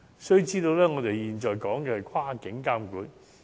須知道，我們現在說的是跨境監管。